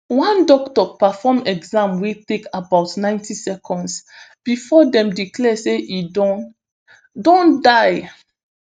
one doctor perform exam wey take about ninety seconds bifor dem declare say e don don die